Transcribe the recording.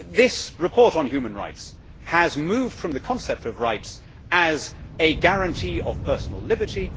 This report on human rights has moved from the concept of rights as a guarantee of personal liberty